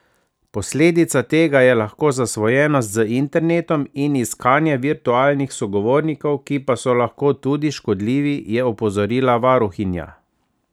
Posledica tega je lahko zasvojenost z internetom in iskanje virtualnih sogovornikov, ki pa so lahko tudi škodljivi, je opozorila varuhinja.